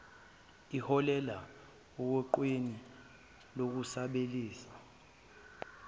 iholele oguqukweni lokusabalalisa